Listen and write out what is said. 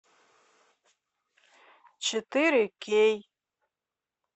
четыре кей